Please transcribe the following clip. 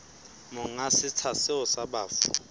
monga setsha seo sa bafu